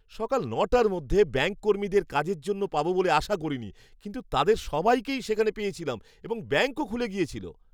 সকাল ন'টার মধ্যে ব্যাঙ্ককর্মীদের কাজের জন্য পাব বলে আশা করিনি, কিন্তু তাঁদের সবাইকেই সেখানে পেয়েছিলাম এবং ব্যাঙ্কও খুলে গিয়েছিল।